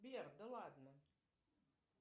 сбер да ладно